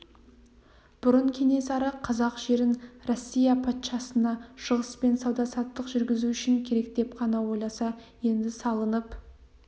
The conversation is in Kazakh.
бұрын кенесары қазақ жерін россия патшасына шығыспен сауда-саттық жүргізу үшін керек деп қана ойласа енді салынып